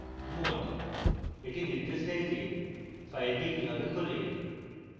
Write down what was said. modeএটি নির্দেশ দেয় যে file কিভাবে খোলে